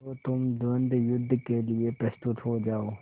तो तुम द्वंद्वयुद्ध के लिए प्रस्तुत हो जाओ